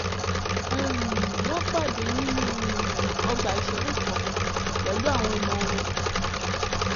um wọ́n pàdé nínú um ọgbà ìṣeré kan pẹ̀lú àwọn ọmọ wọn